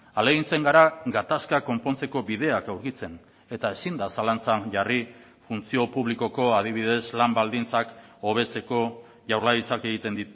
ahalegintzen gara gatazka konpontzeko bideak aurkitzen eta ezin da zalantzan jarri funtzio publikoko adibidez lan baldintzak hobetzeko jaurlaritzak egiten